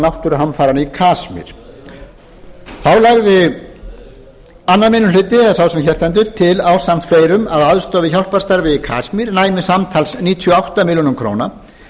náttúruhamfaranna í kasmír þá lagði annar minni hluti eða sá sem hér stendur til ásamt fleirum að aðstoð við hjálparstarfið í kasmír næmi samtals um níutíu og átta milljónir króna